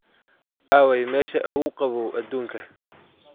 aaway meesha ugu qabow aduunka